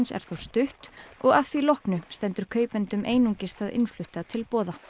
er þó stutt og að því loknu stendur kaupendum einungis það innflutta til boða